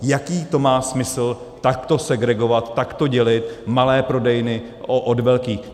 Jaký to má smysl, takto segregovat, takto dělit malé prodejny od velkých?